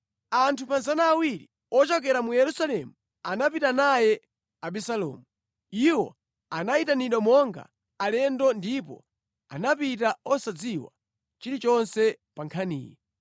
Anthu 200 ochokera mu Yerusalemu anapita naye Abisalomu. Iwo anayitanidwa monga alendo ndipo anapita osadziwa chilichonse pa nkhaniyi.